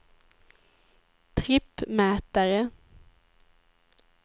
trippmätare